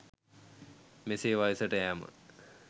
මෙසේ වයසට යෑම